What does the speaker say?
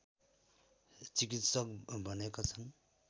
चिकित्सक भनेका छन्